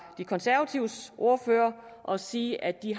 de konservatives ordfører og sige at de